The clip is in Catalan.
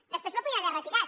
després la podien haver retirat